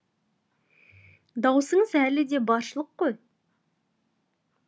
даусыңыз әлі де баршылық қой